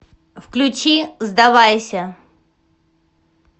включи сдавайся